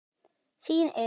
Þín Elísa.